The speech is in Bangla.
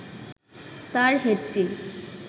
তার হেডটি